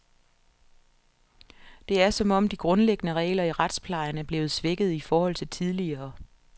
Det er, som om de grundlæggende regler i retsplejen er blevet svækket i forhold til tidligere.